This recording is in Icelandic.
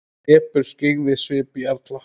Depurð skyggði svip jarla.